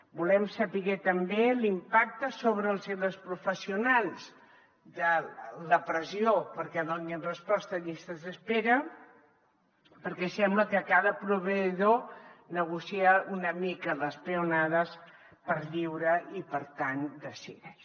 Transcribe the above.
volem saber també l’impacte sobre els i les professionals de la pressió perquè donin resposta a llistes d’espera perquè sembla que cada proveïdor negocia una mica les peonades per lliure i per tant decideix